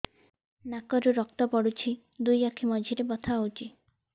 ନାକରୁ ରକ୍ତ ପଡୁଛି ଦୁଇ ଆଖି ମଝିରେ ବଥା ହଉଚି